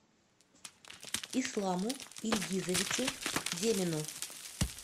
исламу ильгизовичу демину